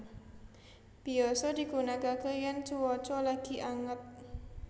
Biyasa digunakaké yèn cuaca lagi anget